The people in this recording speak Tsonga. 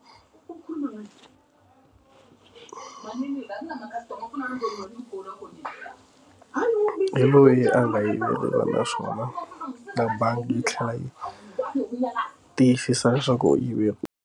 Hi loyi a nga yimelelana swona na bangi yi tlhela yi u tiyisisa leswaku u yivile ku.